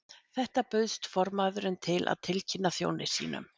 Þetta bauðst formaðurinn til að tilkynna þjóni sínum.